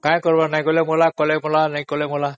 କାହିଁ କରିବ ବୋଲି କହିଲେ ମଲା ନ କହିଲେ ବି ମଲା